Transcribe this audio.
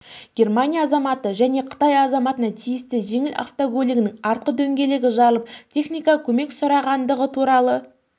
германия азаматына және қытай азаматына тиісті жеңіл автокөлігінің артқы дөңгелегі жарылып техникалық көмек сұрағандығы туралы